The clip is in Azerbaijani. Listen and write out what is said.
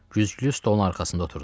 Güzgülü stolun arxasında oturdular.